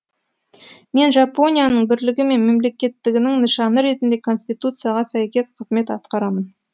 мен жапонияның бірлігі мен мемлекеттігінің нышаны ретінде конституцияға сәйкес қызмет атқарамын